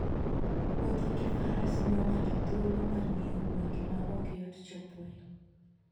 Wuotho gi Faras miyo ng'ato thuolo mar ng'iyo gwenge ma ok yot chopoe.